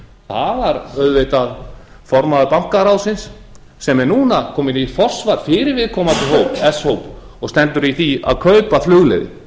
var auðvitað formaður bankaráðsins sem er núna kominn í forsvar fyrir viðkomandi hóp s hóp og stendur í því að kaupa flugleiðir